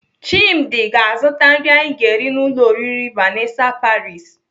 Chimdi ga-azụta nri anyi ga-eri n'ụlọ oriri Vanessa paris.